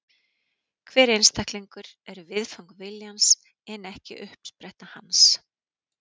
Hver einstaklingur er viðfang viljans en ekki uppspretta hans.